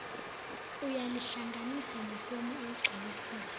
uyalihlanganisa nefomu oyigcwalisile